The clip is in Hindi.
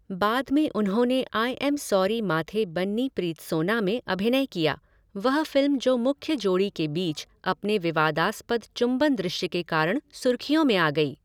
बाद में उन्होंने I am sorry Mathe Banni Preethsona में अभिनय किया, वह फ़िल्म जो मुख्य जोड़ी के बीच अपने विवादास्पद चुंबन दृश्य के कारण सुर्खियों में आ गई।